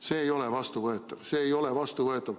See ei ole vastuvõetav!